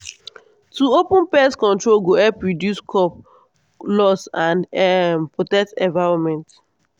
to open pest control go help reduce crop loss and um protect environment.